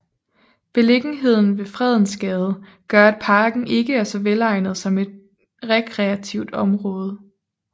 Beliggenheden ved Fredensgade gør at parken ikke er så velegnet som rekreativt område